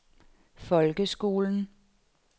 folkeskolen